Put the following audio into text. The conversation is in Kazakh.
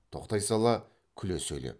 тоқтай сала күле сөйлеп